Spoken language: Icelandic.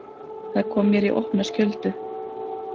Það kom mér í opna skjöldu.